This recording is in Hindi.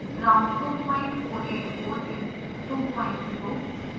round 2484 is 20